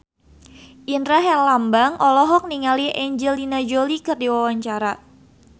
Indra Herlambang olohok ningali Angelina Jolie keur diwawancara